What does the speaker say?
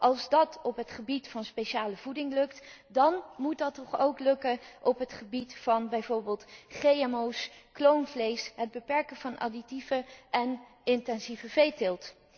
Als dat op het gebied van speciale voeding lukt, dan moet dat toch ook lukken op het gebied van bijvoorbeeld GMO's, kloonvlees, het beperken van additieven en intensieve veeteelt.